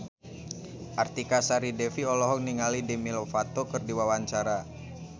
Artika Sari Devi olohok ningali Demi Lovato keur diwawancara